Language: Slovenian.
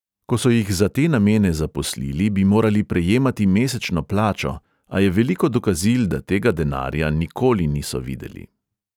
Ko so jih za te namene zaposlili, bi morali prejemati mesečno plačo, a je veliko dokazil, da tega denarja nikoli niso videli.